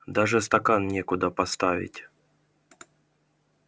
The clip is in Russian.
даже стакан некуда поставить